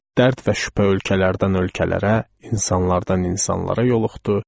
Dərd və şübhə ölkələrdən ölkələrə, insanlardan insanlara yoluxdu.